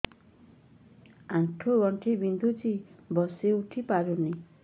ଆଣ୍ଠୁ ଗଣ୍ଠି ବିନ୍ଧୁଛି ବସିଉଠି ପାରୁନି